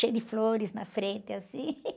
cheio de flores na frente, assim.